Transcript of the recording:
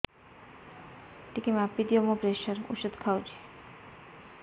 ଟିକେ ମାପିଦିଅ ମୁଁ ପ୍ରେସର ଔଷଧ ଖାଉଚି